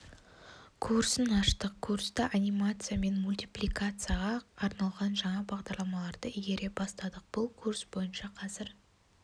курсын аштық курста анимация мен мультипликацияға арналған жаңа бағдарламаларды игере бастадық бұл курс бойынша қазір